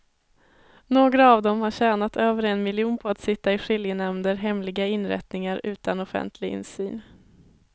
Några av dem har tjänat över en miljon på att sitta i skiljenämnder, hemliga inrättningar utan offentlig insyn.